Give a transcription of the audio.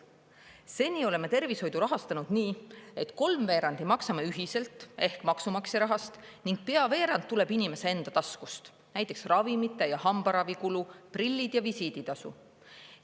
Seni oleme tervishoidu rahastanud nii, et kolmveerandi maksame ühiselt ehk maksumaksja rahast ning pea veerand tuleb inimese enda taskust, näiteks ravimite ja hambaravi kulu, prillid ja visiiditasu.